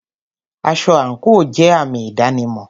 Aṣọ àńkò jẹ àmì ìdánimọ̀.